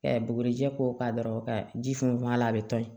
bugurijɛ ko kan dɔrɔn ka ji funfun a la a bɛ to yen